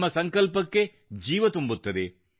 ನಮ್ಮ ಸಂಕಲ್ಪಕ್ಕೆ ಜೀವ ತುಂಬುತ್ತದೆ